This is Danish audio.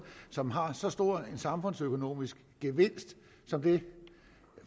som har så stor en samfundsøkonomisk gevinst som det